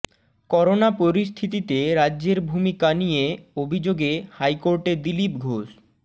corona পরিস্থিতিতে রাজ্যের ভূমিকা নিয়ে অভিযোগে হাইকোর্টে দিলীপ ঘোষ